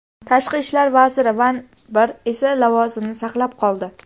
Tashqi ishlar vaziri Van I esa lavozimini saqlab qoldi.